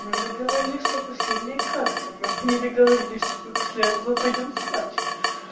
мы договорились что последняя катка но мы не договорились что мы после этого пойдём спать